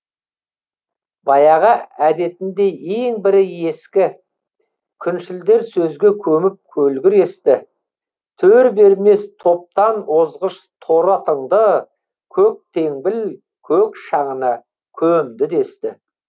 баяғы әдетіндей ең бірі ескі күншілдер сөзге көміп көлгір есті төр бермес топтан озғыш торы атыңды көктеңбіл көк шаңына көмді десті